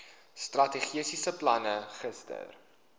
strategiese plan gister